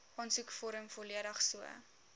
aansoekvorm volledig so